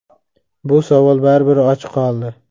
Bu savol baribir ochiq qoldi.